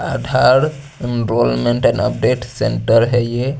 आधार enrolment और update centre है ये--